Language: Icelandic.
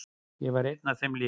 Ég var einn af þeim linu.